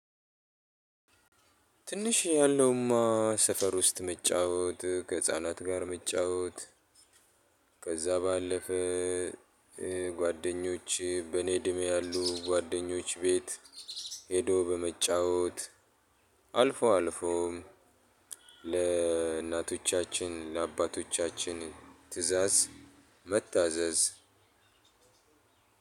ትንሽ ያለውማ ሰፈር ውስጥ መጫወት ከህፃናት ጋር መጫወት ከዛ ባለፈ። ጓደኞች በእኔ እድሜ ያሉ ጓደኞች ቤት ሄዶ በመጫወት አልፎ አልፎም ለእናቶቻችን ለአባቶቻችን ትእዛዝ መታዘዝ።